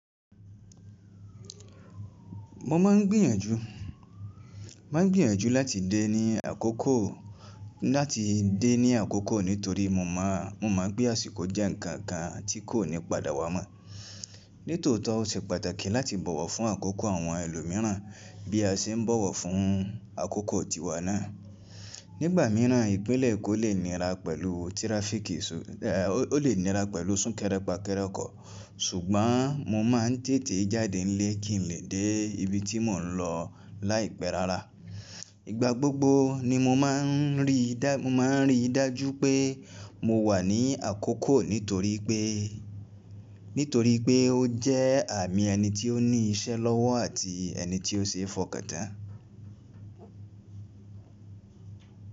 Mo máa ń gbìyànjú, máa ń gbìyànjú láti dé ní àkókò, láti dé ní àkókò nítorí mo máa, mo mọ̀ pé àsìkò jẹ́ ǹkan kan tí kò ní padà wá mọ́. Nítọ̀ọ́tí ó ṣe pàtàkì láti bọ̀wọ̀ fún àkókò àwọn ẹlòmíràn bí a ṣe ń bọ̀wọ̀ fún àkókò tìwá náà. Nígbà mìíràn, ìpínlẹ̀ kò lè nira pẹ̀lú tiráfíìkì, ò lè nira pẹ̀lú sún kerépa-keré ọkoọ̀, ṣùgbọ́n mo máa ń tètè jáde nílé kì in le dé ibi tí mò ń lọ láìpé rárá. Ìgbà gbógbo ni mo máa ń ríi, mo máa ń rí i dájú pé mo wà ní àkókò nítorí pé, nítorí pé ó jẹ́ àmì ẹni tí ó ní iṣẹ́ lọ́wọ́ àti ẹni tí ó ṣéé fọ̀kàn tán.